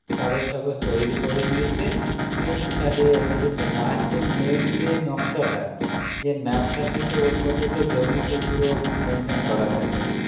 কাগজ টাগজ তৈরি করে নিয়েছে এরকম চালিয়ে যাচ্ছে কিন্তু last যে main যে নকশাটা যে map টা থাকে ওর মধ্যে তো জমি তো পুরো mention করা থাকে